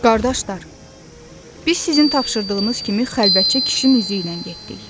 Qardaşlar, biz sizin tapşırdığınız kimi xəlvətcə kişinin üzü ilə getdik.